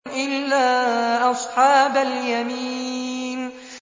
إِلَّا أَصْحَابَ الْيَمِينِ